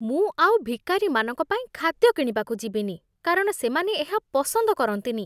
ମୁଁ ଆଉ ଭିକାରିମାନଙ୍କ ପାଇଁ ଖାଦ୍ୟ କିଣିବାକୁ ଯିବିନି, କାରଣ ସେମାନେ ଏହା ପସନ୍ଦ କରନ୍ତିନି।